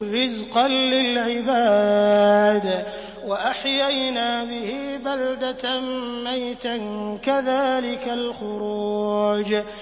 رِّزْقًا لِّلْعِبَادِ ۖ وَأَحْيَيْنَا بِهِ بَلْدَةً مَّيْتًا ۚ كَذَٰلِكَ الْخُرُوجُ